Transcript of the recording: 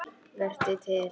Vertu til.